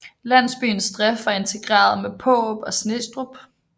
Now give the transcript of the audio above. Landsbyens drift var integreret med Paarup og Snestrup